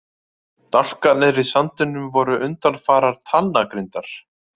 Dálkarnir í sandinum voru undanfarar talnagrindar.